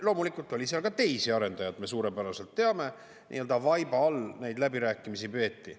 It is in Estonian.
Loomulikult oli ka teisi arendajad, me suurepäraselt teame, nii-öelda vaiba all neid läbirääkimisi peeti.